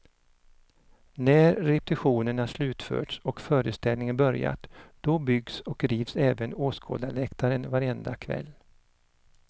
När repetitionerna slutförts och föreställningen börjat, då byggs och rivs även åskådarläktaren varenda kväll.